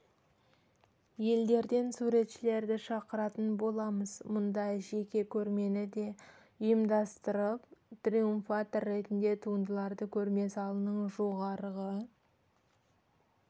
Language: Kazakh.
елдерден суретшілерді шақыратын боламыз мұнда жеке көрмені де ұйымдастырып триумфатор ретінде туындыларды көрме залының жоғарғы